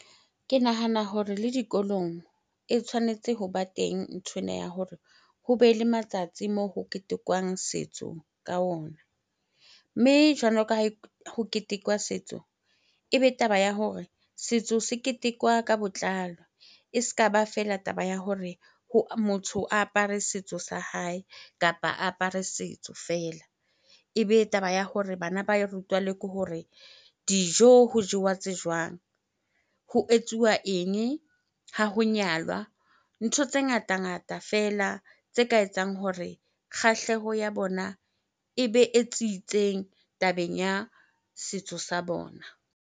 Ke nahana hore le dikolong e tshwanetse hoba teng nthwena ya hore hobe le matsatsi moo ho ketekwang setso ka ona. Mme jwalo ka ha ho ketekwa setso, ebe taba ya hore setso se ketekwa ka botlalo. E se ka ba fela taba ya hore motho a apare setso sa hae kapa a apare setso feela. Ebe taba ya hore bana ba e rutwa le ke hore dijo ho jewa tse jwang? Ho etsuwa eng ha ho nyalwa? Ntho tse ngatangata fela tse ka etsang hore kgahleho ya bona ebe e tsitseng tabeng ya setso sa bona.